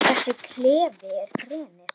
Þessi klefi er grenið.